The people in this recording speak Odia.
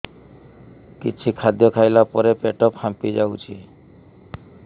କିଛି ଖାଦ୍ୟ ଖାଇଲା ପରେ ପେଟ ଫାମ୍ପି ଯାଉଛି